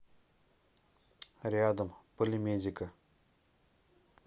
рядом полимедика